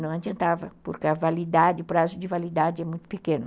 Não adiantava, porque a validade, o prazo de validade é muito pequeno.